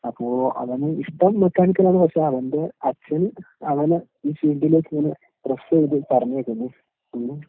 അപ്പൊ അവന് ഇഷ്ടം മെക്കാനിക്കലാണ്, പക്ഷെ അവന്റെ അച്ഛൻ അവനെ ഈ ഫീൽഡിലേക്കിങ്ങനെ പ്രെസ്സെയ്ത് പറഞ്ഞയയ്ക്കുന്നു. ഉം.